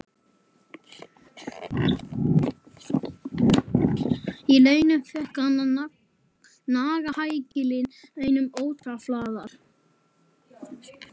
Að launum fékk hann að naga hækilinn einn og ótruflaður.